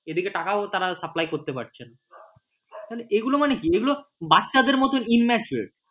এদিকে টাকাও তারা supply করতে পারছে না এইগুলো মানে কি এগুলো বাচ্ছাদের মতো immaturity